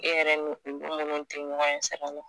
i yɛrɛ ni u tɛ ɲɔgɔn ɲɛ sira la